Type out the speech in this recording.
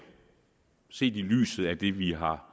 set i lyset af det vi har